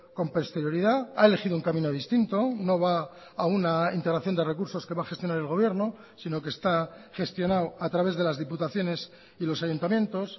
con posterioridad ha elegido un camino distinto no va a una integración de recursos que va a gestionar el gobierno sino que está gestionado a través de las diputaciones y los ayuntamientos